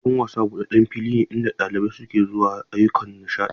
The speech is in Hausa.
Filin wasa buɗaɗɗen fili ne inda ɗalibai ke zuwa ayyukan nishaɗi.